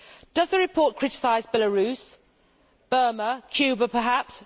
Does the report criticise Belarus, Burma, Cuba perhaps?